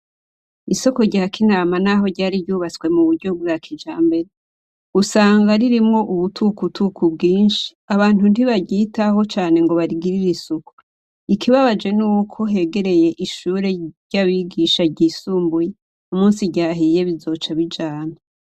Isoko rya Kinama naho ryari ryubatswe mu buryo bwa kijambere, usanga ririmwo ubutukutuku bwinshi. Abantu ntibaryitaho cane ngo barigirire isuku. Ikibabaje n'uko hegereye ishure ry'abigisha ryisumbuye; umunsi ryahiye bizoca bijana.